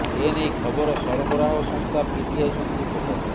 ଏ ନେଇ ଖବର ସରବରାହ ସଂସ୍ଥା ପିଟିଆଇ ସୂତ୍ରରୁ ପ୍ରକାଶ